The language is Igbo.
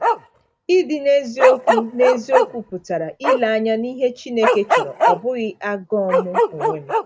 Ịdị n’eziokwu n’eziokwu pụtara ile anya n’ihe Chineke chọrọ, ọ bụghị agụụ m onwe m.